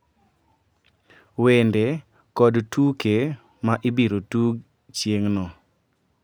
Wende kod tuke ma ibiro tug chieng`no,